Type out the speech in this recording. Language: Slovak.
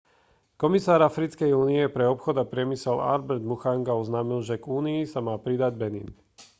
komisár africkej únie pre obchod a priemysel albert muchanga oznámil že k únii sa má pridať benin